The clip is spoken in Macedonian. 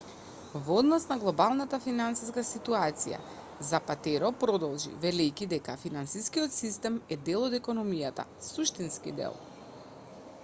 во однос на глобалната финансиска ситуација запатеро продолжи велејќи дека финансискиот систем е дел од економијата суштински дел